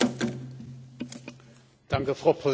Frau Präsidentin, liebe Kolleginnen und Kollegen!